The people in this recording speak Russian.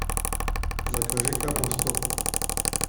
закажи капусту